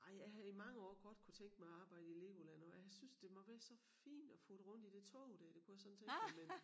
Ej jeg havde i mange år godt kunnet tænke mig at arbejde i Legoland og jeg synes det må være så fint at futte rundt i det tog der det kunne jeg sådan tænke mig men